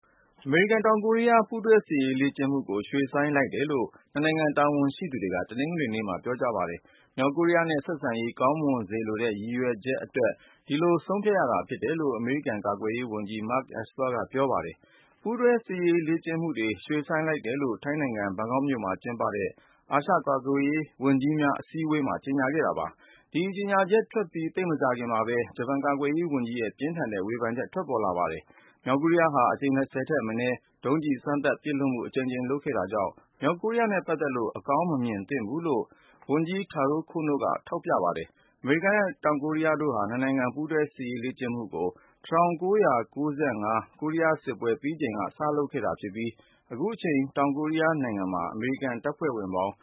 အမေရိကန် - တောင်ကိုရီးယား ပူးတွဲ စစ်ရေးလေ့ကျင့်မှုကို ရွှေ့ဆိုင်းလိုက်တယ်လို့ နှစ်နိုင်ငံ တာဝန်ရှိသူတွေက တနင်္ဂနွေနေ့မှာ ပြောကြားပါတယ်။ မြောက်ကိုရီးယားနဲ့ ဆက်ဆံရေး ကောင်းမွန်စေလိုတဲ့ ရည်ရွယ်ချက်အတွက် ဒီလိုဆုံးဖြတ်ရတာလို့ အမေရိကန် ကာကွယ်ရေးဝန်ကြီး Mark Esper က ပြောပါတယ်။ ပူးတွဲစစ်ရေးလေ့ကျင့်မှုတွေ ရွှေ့ဆိုင်းလိုက်တယ်လို့ ထိုင်းနိုင်ငံ ဘန်ကောက်မြို့မှာ ကျင်းပတဲ့ အာရှ ကာကွယ်ရေးဝန်ကြီးများ အစည်းအဝေးမှာ ကြေညာခဲ့တာပါ။ ဒီကြေညာချက်ထွက်ပြီး သိပ်မကြာခင်မှာပဲ ဂျပန် ကာကွယ်ရေးဝန်ကြီးရဲ့ ပြင်းထန်တဲ့ ဝေဖန်ချက် ထွက်ပေါ်ခဲ့ပါတယ်။ မြောက်ကိုရီးယားဟာ အကြိမ် ၂၀ ထက်မနည်း ဒုံးကျည် စမ်းသပ်ပစ်လွှတ်မှု အကြိမ်ကြိမ်လုပ်ခဲ့တာကြောင့် မြောက်ကိုရီးယားနဲ့ပတ်သက်လို့ အကောင်းမမြင်သင့်ဘူးလို့ ဂျပန်ဝန်ကြီး Taro Kono က ထောက်ပြပါတယ်။ အမေရိကန်နဲ့ တောင်ကိုရီးယားတို့ဟာ ၂ နိုင်ငံ ပူးတွဲစစ်ရေးလေ့ကျင့်မှုကို ကိုရီးယားစစ်ပွဲ ပြီးဆုံးချိန် ၁၉၅၅ ကစပြီး နှစ်စဉ်ပြုလုပ်လာခဲ့တာ ဖြစ်ပြီး အခုချိန် တောင်ကိုရီးယားနိုင်ငံမှာ အမေရိကန် တပ်ဖွဲ့ဝင်ပေါင်